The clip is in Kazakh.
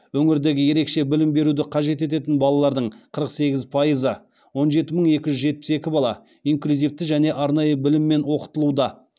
өңірдегі ерекше білім беруді қажет ететін балалардың қырық сегіз пайызы инклюзивті және арнайы біліммен оқытылуда